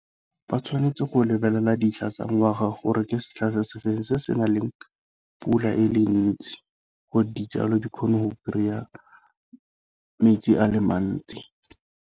Ba tshwanetse go lebelela dintlha tsa ngwaga gore ke setlha se se feng se se na leng pula e le ntsi gore dijalo di kgone go kry-a metsi a le mantsi.